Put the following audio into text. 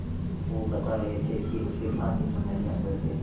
वो बता रहे थे कि उसे धानी चुनरिया कहते हैं